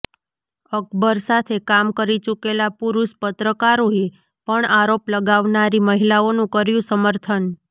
અકબર સાથે કામ કરી ચૂકેલા પુરુષ પત્રકારોએ પણ આરોપ લગાવનારી મહિલાઓનું કર્યું સમર્થન